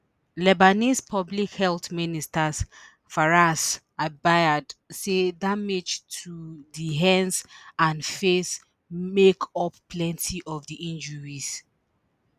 lebanese public health minister firass abiad say damage to di hands and face make up plenti of di injuries